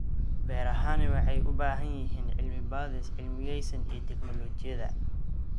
Beerahani waxay u baahan yihiin cilmi-baadhis cilmiyaysan iyo tignoolajiyada.